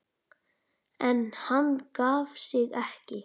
En hann gaf sig ekki.